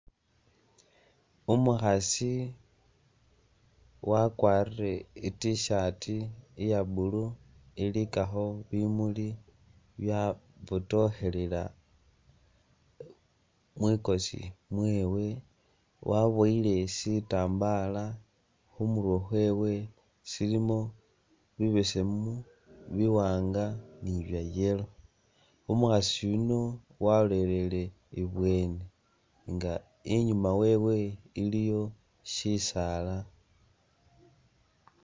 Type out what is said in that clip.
Umukhasi wakwarile I't-shirt iya'blue ilikakho bimuli byabotokhelela mwikosi mwewe, waboyi sitambala khumurwe khwewe silimo bibesemu buwanga ni bwa'yellow umukhaasi yuuno walolelele ibweni nga inyuma wewe ili sisaala